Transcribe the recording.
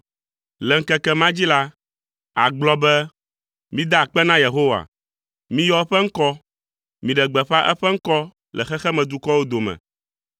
Le ŋkeke ma dzi la, àgblɔ be, “Mida akpe na Yehowa! Miyɔ eƒe ŋkɔ, miɖe gbeƒã eƒe ŋkɔ le xexemedukɔwo dome.